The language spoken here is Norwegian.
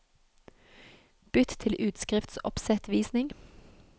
Bytt til utskriftsoppsettvisning